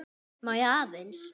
Má ég aðeins!